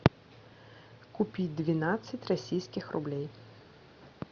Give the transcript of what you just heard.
купить двенадцать российских рублей